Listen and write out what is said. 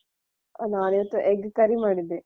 ನಾನ್ ಇವತ್ತು egg curry ಮಾಡಿದ್ದೆ.